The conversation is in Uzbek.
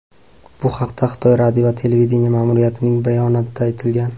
Bu haqda Xitoy radio va televideniye ma’muriyatining bayonotida aytilgan.